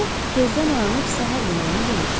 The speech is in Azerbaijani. O tezdən oyanıb səhər yeməyini yemişdi.